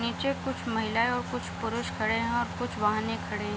नीचे कुछ महिलायें और कुछ पुरुष खड़े हैं और कुछ वाहनें खड़े हैं।